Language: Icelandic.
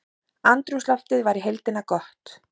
Andrúmsloftið var í heildina gott